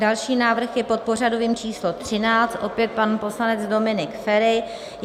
Další návrh je pod pořadovým číslem 13, opět pan poslanec Dominik Feri.